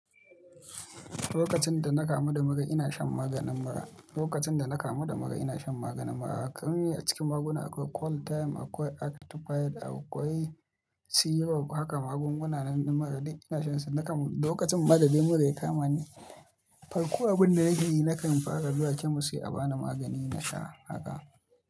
Lokacin da na kamu da mura ina shan maganin mura. Lokacin da na kamu da mura ina shan maganin mura. Kai a cikin maguna akwai Qualtime, akwai Actifide, akwai Syrup haka magunguna na mura duk ina shan su. Na kamu, lokacin ma dai da mura ya kama ni, farko abin da nake yi, na kan fara zuwa kemis sai a ba ni magani na sha haka.